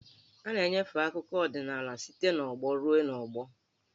A na-enyefe akụkọ ọdịnaala site n'ọgbọ ruo n'ọgbọ.